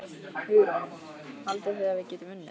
Hugrún: Haldið þið að við getum unnið?